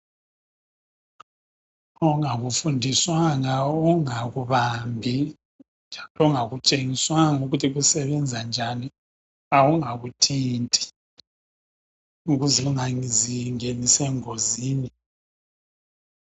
Ongakufundiswanga ungakubambi ongakutshengiswanga ukuthi kusebenza njani awungakuthinti ukuze ungazingenisi engozini.